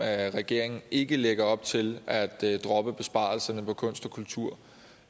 at regeringen ikke lægger op til at droppe besparelserne på kunst og kultur